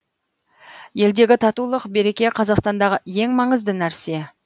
елдегі татулық береке қазақстандағы ең маңызды нәрсе